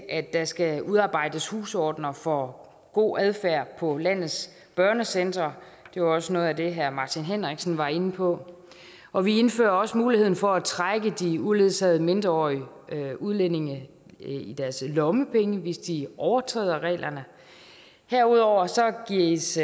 at der skal udarbejdes husordener for god adfærd på landets børnecentre det var også noget af det herre martin henriksen var inde på og vi indfører også muligheden for at trække de uledsagede mindreårige udlændinge i deres lommepenge hvis de overtræder reglerne herudover gives